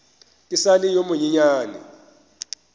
ke sa le yo monyenyane